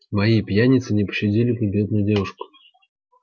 мои пьяницы не пощадили бы бедную девушку